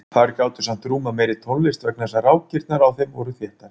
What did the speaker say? Þær gátu samt rúmað meiri tónlist vegna þess að rákirnar á þeim voru þéttari.